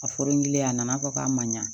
A forokilen a nana fɔ k'a ma ɲa